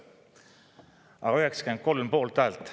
Aga tuli 93 poolthäält.